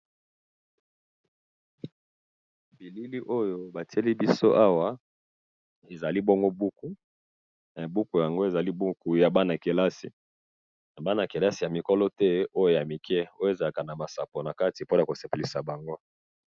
bilili oyo batiyeli biso awa ezali bongo buku buku yango eza ya bana kelasi buku oyo ya bana mikolo te eza ya bana mike pona esepelisa bango